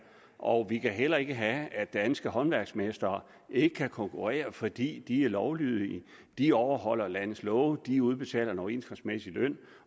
og vi kan heller ikke have at danske håndværksmestre ikke kan konkurrere fordi de er lovlydige de overholder landets love de udbetaler overenskomstmæssig løn